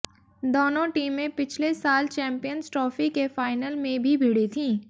दोनों टीमें पिछले साल चैंपियंस ट्रॉफी के फाइनल में भी भिड़ी थीं